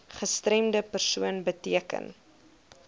gestremde persoon beteken